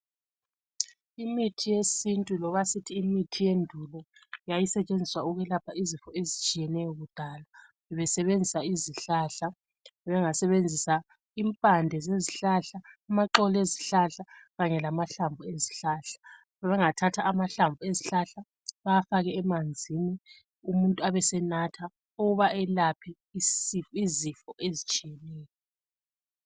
Imithi yesintu loba sithi imithi yendulo yayisetshenziswa ukwelapha izifo ezitshiyeneyo kuqala besebenzisa izihlahla , bengasebenzisa impande zezihlahla , amaxolo ezihlahla kanye lamahlamvu ezihlahla , bengathatha amahlamvu ezihlahla bewafake emanzini umuntu abe senatha ukuba elaphe isifo izifo ezitshiyeneyo